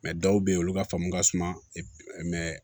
dɔw bɛ yen olu ka faamu ka suma mɛ